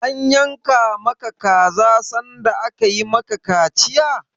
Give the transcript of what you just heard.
An yanka ma ka kaza sanda aka yi ma ka kaciya?